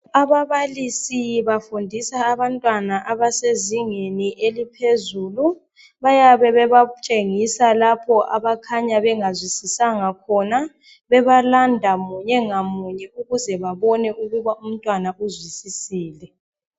Ababalisi bafundisa abantwana abasezingeni eliphezulu, bayabe bebatshengisa lapho abakhanya bengazwisisanga khona. Bebalanda munye ngamunye ukuze babone ukuba umntwana uzwisisile.